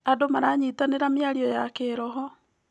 Andũ maranyitanĩra mĩario ya kĩroho.